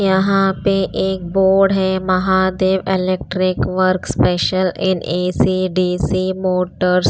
यहाँ पे एक बोर्ड है Mahadev electric work special in AC DC motors --